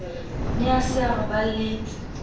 ne a se a roballetse